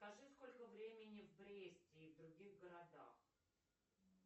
скажи сколько времени в бресте и в других городах